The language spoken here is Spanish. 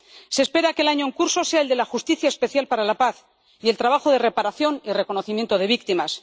Se espera que el año en curso sea el de la justicia especial para la paz y el trabajo de reparación y reconocimiento de las víctimas.